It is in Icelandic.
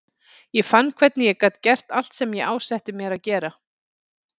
Ég fann hvernig ég gat gert allt sem ég ásetti mér að gera.